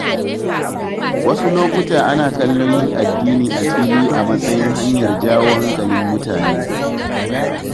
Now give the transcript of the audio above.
Wasu lokuta ana kallon yin addini a fili a matsayin hanyar jawo hankalin mutane.